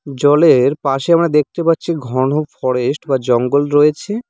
জলের পাশে আমরা দেখতে পারছি ঘন ফরেস্ট বা জঙ্গল রয়েছে।